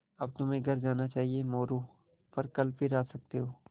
अब तुम्हें घर जाना चाहिये मोरू पर कल फिर आ सकते हो